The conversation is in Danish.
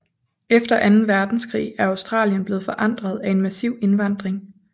Efter anden verdenskrig er Australien blevet forandret af en massiv indvandring